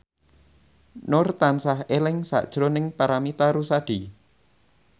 Nur tansah eling sakjroning Paramitha Rusady